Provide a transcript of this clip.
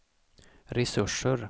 resurser